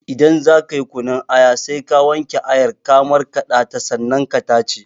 Idan zakayi kunun aya sai ka wanke ayar ka markaɗa ta sannan ka tace